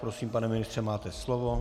Prosím, pane ministře, máte slovo.